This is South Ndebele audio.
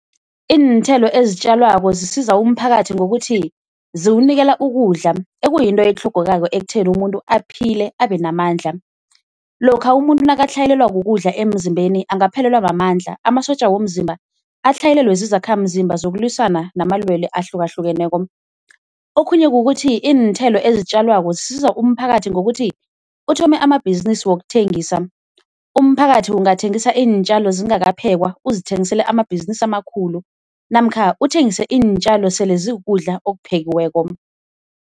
Iinthelo ezitjalwako zisiza umphakathi ngokuthi ziwunikela ukudla ekuyinto etlhogekako ekutheni umuntu aphile abenamandla. Lokha umuntu nakatlhayelelwa kukudla emzimbeni angaphelelwa mamandla, amasotja womzimba atlhayelelwe zizakhamzimba zokulwisana namalwelwe ahlukahlukeneko. Okhunye kukuthi iinthelo ezitjalwako zisiza umphakathi ngokuthi uthome amabhizinisi wokuthengisa, umphakathi ungathengisa iintjalo zingakaphekwa uzithengisele amabhizinisi amakhulu namkha uthengise iintjalo sele zikukudla okuphekiweko.